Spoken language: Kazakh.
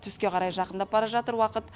түске қарай жақындап бара жатыр уақыт